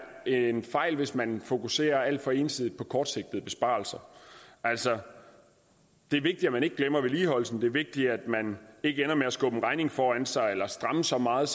en fejl hvis man fokuserer alt for ensidigt på kortsigtede besparelser altså det er vigtigt at man ikke glemmer vedligeholdelsen det er vigtigt at man ikke ender med at skubbe en regning foran sig eller stramme så meget